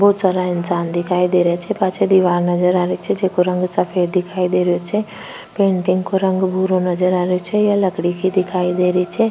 बहोत सारा इंसान दिखाई दे रहा छे पाछे दिवार नजर आ री छे जेको रंग सफ़ेद दिखाई दे रो छे पेंटिंग को रंग भूरो नजर आ रो छे यह लकड़ी की दिखाई दे री छे।